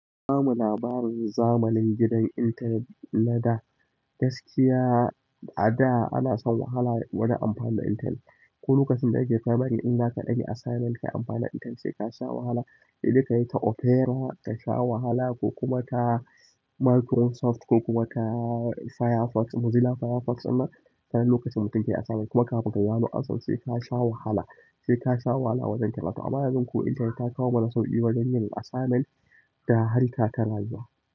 Ba mu labarin zamani gidan intanet na da gaskiya. A da ana shan wahala wajen amfani da intanet. Ko lokacin da yake firamare in zaka ɗaga assignment kai amfani da intanet sai ka sha wahala. Idan ka yi ta Opera ka sha wahala ko kuma ka Microsoft ko kuma ka Firefox Mozilla Firefox ɗinnan, tanan lokacin mutum ke assignment kuma kafin ka gano amsar sei ka sha wahala, sai ka sha wahala wajen karatu. Amma yanzu ko internet ta kawo mana sauƙi wajen yin assignment da harka ta rayuwa.